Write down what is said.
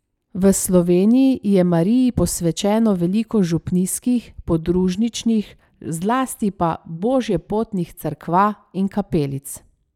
V Sloveniji je Mariji posvečenih veliko župnijskih, podružničnih, zlasti pa božjepotnih cerkva in kapelic.